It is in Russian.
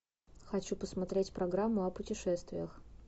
хочу посмотреть программу о путешествиях